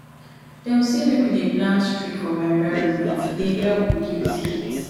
dem sey make we dey plant tree for our environment e dey help reduce heat